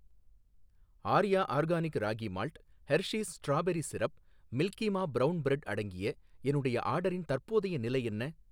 Arya organic ragi malt Hershey's strawberry syrup மில்கிமா brown bread அடங்கிய என்னுடைய ஆர்டரின் தற்போதைய நிலை என்ன